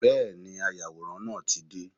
Bẹ́ẹ̀ni, ayàwòrán náà tí dé.